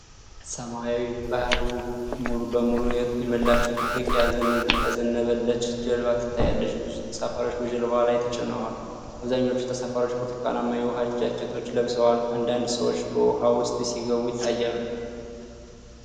ሰማያዊውን ባህር ሙሉ በሙሉ የሞላችው ትልቅ፣ ያዘነበለች ጀልባ ትታያለች። ብዙ ተሳፋሪዎች በጀልባዋ ላይ ተጨናንቀዋል። አብዛኛዎቹ ተሳፋሪዎች ብርቱካናማ የዉሃ ጃኬቶች ለብሰዋል። አንዳንድ ሰዎች በውኃ ውስጥ ሲገቡ ይታያሉ።